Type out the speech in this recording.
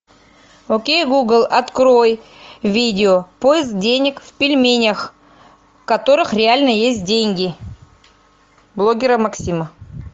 окей гугл открой видео поиск денег в пельменях в которых реально есть деньги блогера максима